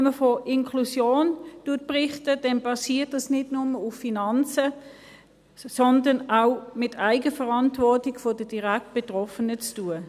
Wenn man von Inklusion berichtet, dann basiert das nicht nur auf Finanzen, sondern hat auch mit Eigenverantwortung der Direktbetroffenen zu tun.